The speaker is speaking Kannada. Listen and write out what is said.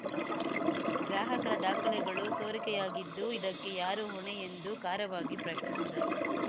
ಗ್ರಾಹಕರ ದಾಖಲೆಗಳು ಸೋರಿಕೆಯಾಗಿದ್ದು ಇದಕ್ಕೆ ಯಾರು ಹೊಣೆ ಎಂದು ಖಾರವಾಗಿ ಪ್ರಶ್ನಿಸಿದರು